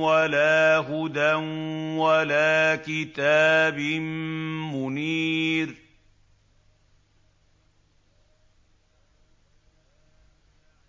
وَلَا هُدًى وَلَا كِتَابٍ مُّنِيرٍ